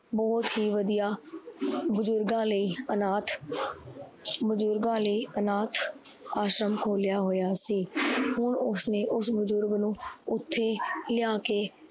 ਬਹੁਤ ਹੀ ਵਧੀਆ ਬੁਜਰਗਾ ਲਈ ਆਨਾਥ ਬੁਜਰਗਾ ਲਈ ਆਨਾਥ ਆਸ਼ਰਮ ਖੋਲਿਆ ਹੋਏਆ ਸੀ। ਹੁਣ ਉਸਨੇ ਉਸ ਬੁਜਰਗ ਨੂੰ ਓਥੇ ਲਿਆ ਕੇ